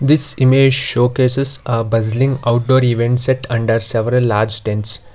this image showcases a buzzling outdoor event set under several large tents.